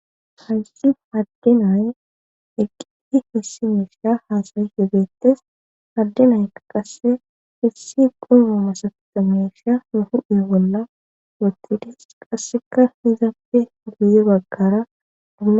Hayssi haddenaye eqqii hessimeesha haasayi hibeettes haddenaya qasse issi qoma ma sabtamesha huhudhe bolla wottidis qasseka hizappe guye baggara.